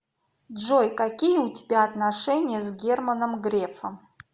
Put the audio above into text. джой какие у тебя отношения с германом грефом